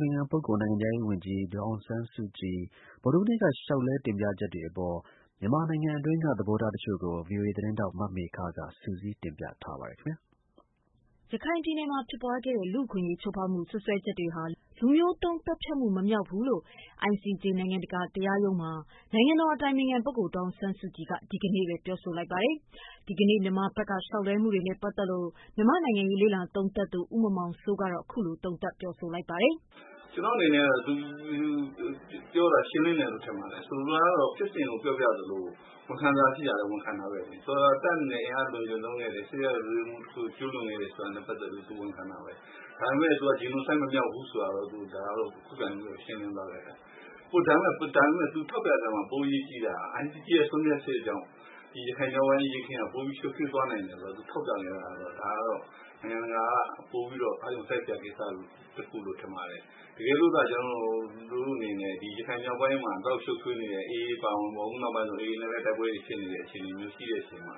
ပင်ခံပုဂ္ဂိုလ်၊ နိုင်ငံခြားရေးဝန်ကြီး ဒေါ်အောင်ဆန်းစုကြည် ဗုဒ္ဓဟူးနေ့က လျှောက်လဲ တင်ပြချက်တွေအပေါ် မြန်မာနိုင်ငံတွင်းက သဘောထားတချို့ကို ဗွီအိုအေသတင်းထောက် မမေခက စုစည်းတင်ပြထားပါတယ်။ ရခိုင်ပြည်နယ်မှာ ဖြစ်ပွားခဲ့တဲ့ လူ့အခွင့်အရေး ချိုးဖောက်မှု စွပ်စွဲချက်တွေဟာ လူမျိုးတုံး သတ်ဖြတ်မှု မမြောက်ကြောင်း ICJ နိုင်ငံတကာ တရားရုံးမှာ နိုင်ငံတော် အတိုင်ပင်ခံပုဂ္ဂိုလ် ဒေါ်အောင်ဆန်းစုကြည်က ပြောဆိုလိုက်ပါတယ်။ မြန်မာဘက်က လျှောက်လဲမှုတွေနဲ့ ပတ်သတ်လို့ မြန်မာ့နိုင်ငံရေး လေ့လာသုံးသပ်သူ ဦးမောင်မောင်စိုးကတော့ ခုလို သုံးသပ်ပြောဆိုလိုက်ပါတယ်။ " ကျနော့် အနေနဲ့ သူပြောတာ ရှင်းလင်းတယ်လို့ ထင်ပါတယ်။ ဆိုလိုတာကတော့ ဖြစ်စဉ်ကို ပြောပြသလို ဝန်ခံစရာ ရှိတာလည်း ဝန်ခံတာဘဲလေ။ ဆိုလိုတာက တပ်အနေနဲ့ အင်အား အလွန်အကျွံ သုံးခဲ့တယ်။ စစ်ရာဇဝတ်မှု တခု ကျူးလွန်ခဲ့တယ် ဆိုတာနဲ့ ပတ်သက်ပြီး သူ ဝန်ခံတာဘဲ။ ဒါပေမယ့် သူက Genocide မမြောက်ဘူးဆိုတာတော့ ခုခံပြီးတော့ ရှင်းလင်းသွားတယ်။ ဒါပေမယ့် သူ ထောက်ပြတဲ့ အထဲမှာ ပို အရေးကြီးတာက ICJ ရဲ့ ဆုံးဖြတ်ချက်ကြောင့် ရခိုင် မြောက်ပိုင်း အရေးအခင်းက ပိုပြီး ရှုပ်ထွေးသွားနိုင်တယ်ဆိုတာ သူထောက်ပြနေတာ ဒါကတော့ နိုင်ငံတကာက ပိုပြီးတော့ အာရုံစိုက်စရာ ကိစ္စ တခုလို့ ထင်ပါတယ်။ တကယ်လို့ ကျနော်တိ့ု အနေနဲ့ ရခိုင် မြောက်ပိုင်းမှာ ဒီလောက် ရှုပ်ထွေးနေတဲ့ AA အပါအဝင်ပေါ့၊ အခုနောက်ပိုင်းဆို AA နဲ့လည်း တိုက်ပွဲတွေ ဖြစ်နေတဲ့ အခြေအနေမျိုး ရှိတဲ့ အချိန်မှာ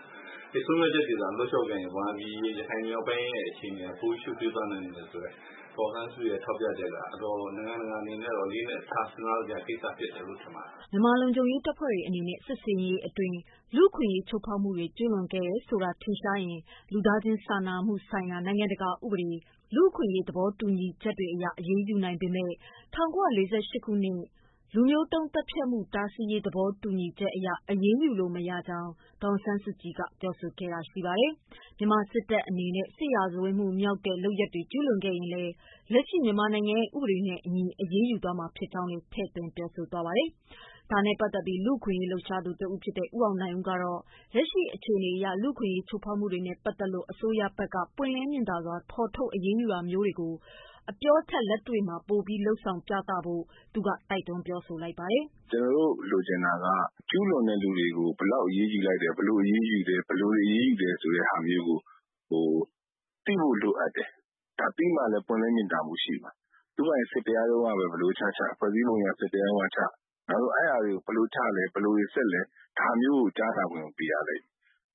ဒီဆုံးဖြတ်ချက်တွေသာ လုပ်ခဲ့ရင် ရခိုင်ပြည်နယ် မြောက်ပိုင်း အခြေအနေဟာ ပိုရှုပ်ထွေးသွား နိုင်တယ်ဆိုတဲ့ ဒေါ်အောင်ဆန်းစုကြည်ရဲ့ ထောက်ပြချက်က နိုင်ငံတကာ အနေနဲ့ အလေးအနက်ထား စဉ်းစားစရာ ကိစ္စဖြစ်မယ်လို့ ထင်ပါတယ်။ " မြန်မာလုံခြုံရေး တပ်ဖွဲ့ဝင်တွေ အနေနဲ့ စစ်ဆင်ရေးတွေအတွင်း လူ့အခွင့်အရေး ချိုးဖောက်မှုတွေ ကျုးလွန်ခဲ့တယ်ဆိုတာ ထင်ရှားရင် လူသားချင်း စာနာမှုဆိုင်ရာ နိုင်ငံတကာ ဥပဒေ၊ လူ့အခွင့်အရေး သဘောတူညီချက်တွေအရ အရေးယူနိုင်ပေမဲ့ ၁၉၄၈ ခုနှစ် လူမျိုးတုန်း သတ်ဖြတ်မှု တားဆီးရေး သဘောတူညီချက်အရ အရေးယူလို့ မရကြောင်း ဒေါ်အောင်ဆန်းစုကြည် က ပြောဆိုခဲ့တာ ရှိပါတယ်။ မြန်မာစစ်တပ် အနေနဲ့ စစ်ရာဇဝတ်မှုမြောက်တဲ့ လုပ်ရပ်တွေ ကျုးလွန်ခဲ့ရင်လည်း လက်ရှိမြန်မာနိုင်ငံရဲ့ ဥပဒေတွေနဲ့အညီ အရေးယူမှာ ဖြစ်ကြောင်းလည်း ပြောဆိုသွားပါတယ်။ ဒါနဲ့ ပတ်သက်ပြီး လူ့အခွင့်အရေးလှုပ်ရှားသူ တဦး ဖြစ်တဲ့ ဦးအောင်နိုင်ဦးကတော့ လက်ရှိ အခြေအနေအရ လူ့အခွင့်အရေး ချိုးဖောက်မှုတွေနဲ့ ပတ်သတ်လို့ အစိုးရဘက်က ပွင့်လင်းမြင်သာ စွာ ဖော်ထုတ်အရေးယူတာတွေကို အပြောထက် လက်တွေ့ လုပ်ဆောင်ပြဖို့ သူက တိုက်တွန်းပြောဆို လိုက်ပါတယ်။ " ကျနေ်ာတို့ လိုချင်တာက ကျူးလွန်တဲ့ လူတွေကို ဘယ်လောက် အရေးယူလဲ၊ ဘယ်လို အရေးယူလဲ၊ ဘယ်လိုတွေ အရေးယူလဲ ဆိုတာမျိုးကို သိဖို့ လိုအပ်တယ်။ ဒါ သိမှလည်း ပွင့်လင်းမြင်သာမှု ရှိမှာ။ သူ့ဟာသူ စစ်တရားရုံးကဘဲ ဘယ်လို ချချ၊ ဖွဲ့စည်းပုံ အရ စစ်တရားရုံးကချ၊ ဒါပေမယ့် အဲဒါတွေကို ဘယ်လိုချလဲ ဘယ်လိုတွေ စစ်လဲ ဒါမျိုးကို ကြားနာခွင့်ကို ပေးရလိမ့်မယ်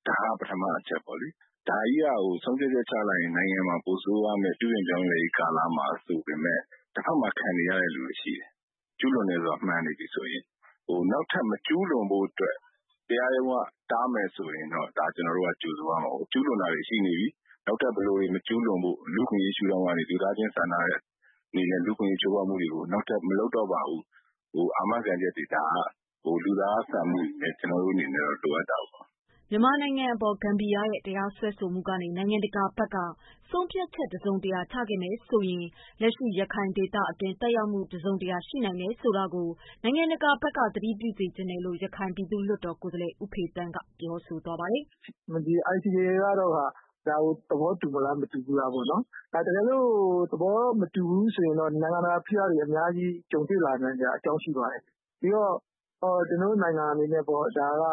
။ ဒါဟာ ပထမ အချက်ပေါ့လေ။ ဒါကြီးက ဆုံးဖြတ်ချက် ချလိုက်ရင် နိုင်ငံမှာ ပိုဆိုးသွားမယ်၊ ပြုပြင်ပြောင်းလဲရေး ကာလမှာ ဆိုပေမယ့် တဖက်မှာ ခံနေရတဲ့ လူတွေ ရှိတယ်။ ကျူးလွန်တယ်ဆိုတာ မှန်နေပြီဆိုရင်။ နောက်ထပ် မကျူးလွန်ဖို့ အတွက် တရားရုံးက တားမယ်ဆိုရင်တော့ ဒါ ကျနေ်ာတို့က ကြိုဆိုရမှာပေါ့။ ကျူးလွန်တာတွေ ရှိနေပြီ နောက်ထပ် ဘယ်လိုတွေ မကျူးလွန်ဖို့ လူ့အခွင့်အရေး ရှုထောင့်ကနေ လူသားချင်း စာနာတဲ့ အနေနဲ့ လူ့အခွင့်အရေး ချိုးဖောက်မှုတွေကို နောက်ထပ် မလုပ်တော့ပါဘူးလို့ အာမခံချက်တွေ၊ ဒါက လူသားဆန်မှုတွေ ကျနေ်ာတို့ အနေနဲ့တော့ လိုအပ်တာပေါ့။ " မြန်မာအပေါ် ဂမ်ဘီယာရဲ့ တရားစွဲဆိုမှုကနေ နိုင်ငံတကာဘက်က ဆုံးဖြတ်ချက် တစုံတရာချခဲ့မယ် ဆိုရင် လက်ရှိရခိုင်ဒေသအတွက် သက်ရောက်မှု တစုံတရာရှိနိုင်တယ် ဆိုတာကို နိုင်ငံတကာဘက်က သတိပြုစေချင်တယ် လို့ ရခိုင်ပြည်သူ့လွှတ်တော် ကိုယ်စားလှယ် ဦးဖေသန်းက ပြောပါတယ်။ " ဒီ ICJ ကတော့ ဒါကို သဘောတူမလား မတူဘူးလား ပေါ့နော်။ တကယ်လို့ သဘောမတူဘူး ဆိုလို့ရှိရင်တော့ နိုင်ငံတကာ ဖိအားတွေ အများကြီး ကြုံတွေ့ နိုင်စရာ အကြောင်း ရှိပါတယ်။ ဒီတော့ ကျနော်တို့ နိုင်ငံ အနေနဲ့တော့ ဒါက